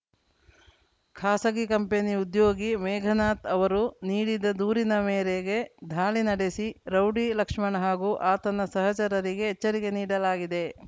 ಖಾಸಗಿ ಕಂಪನಿ ಉದ್ಯೋಗಿ ಮೇಘನಾಥ್‌ ಅವರು ನೀಡಿದ ದೂರಿನ ಮೇರೆಗೆ ದಾಳಿ ನಡೆಸಿ ರೌಡಿ ಲಕ್ಷ್ಮಣ ಹಾಗೂ ಆತನ ಸಹಚರರಿಗೆ ಎಚ್ಚರಿಕೆ ನೀಡಲಾಗಿದೆ